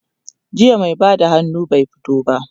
jiya mai Bada hannu bai fito ba